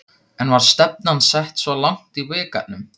En var stefnan sett svona langt í bikarnum?